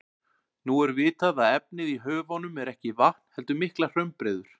Nú er vitað að efnið í höfunum er ekki vatn heldur miklar hraunbreiður.